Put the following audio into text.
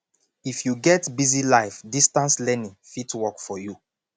if you get busy life distance learning fit work for you